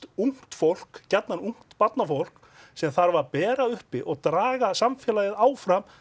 ungt fólk gjarnan ungt barnafólk sem þarf að bera uppi og draga samfélagið áfram